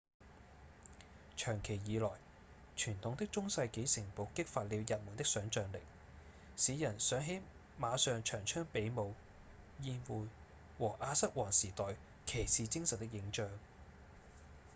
長期以來傳統的中世紀城堡激發了人們的想像力使人想起馬上長槍比武、宴會和亞瑟王時代騎士精神的影像